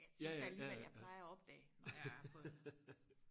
jeg synes da alligevel jeg plejer og opdage når jeg har fået